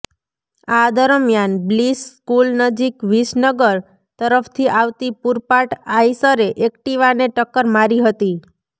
આ દરમિયાન Bliss school નજીક વિસનગર તરફથી આવતી પૂરપાટ આઈશરે એક્ટિવાને ટક્કર મારી હતી